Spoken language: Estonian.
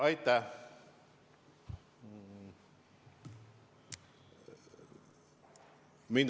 Aitäh!